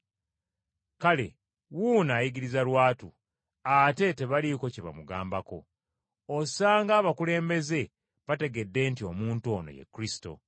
Kale wuuno ayigiriza lwatu, ate tebaliiko kye bamugambako. Osanga abakulembeze bategedde nti omuntu ono ye Kristo!